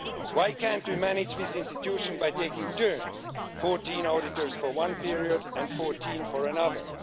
Why can't we manage this institution by taking turns 14 auditors for one period and 14 for another?